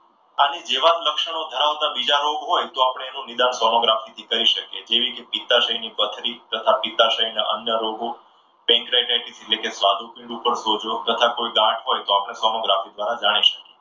આની જેવા જ લક્ષણો ધરાવતા બીજા રોગ હોય તો એનું નિદાન સોનોગ્રાફી થી કરી શકીએ. જેવી કે પિત્તાશયની પથરી તથા પિત્તાશયના અન્ય રોગો એટલે કે સ્વાદુપિંડ પર સોજો તથા કોઈ ગાંઠ હોય તો પણ સોનોગ્રાફી દ્વારા જાણી શકાય.